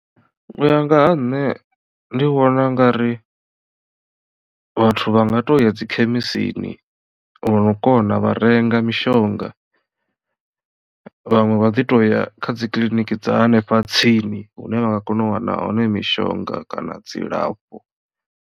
U ya nga ha nṋe ndi vhona u nga ri vhathu vha nga to ya dzi khemisini vhono kona vha renga mishonga vhaṅwe vha ḓi to ya kha dzikiḽiniki dza hanefha tsini hune vha nga kona u wana hone mishonga kana dzilafho.